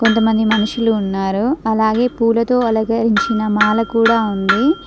కొంతమంది మనుషులు ఉన్నారు అలాగే పూలతో అలగరించిన మాల కూడా ఉంది.